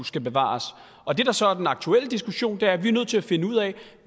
skal bevares det der så er den aktuelle diskussion er at vi er nødt til at finde ud af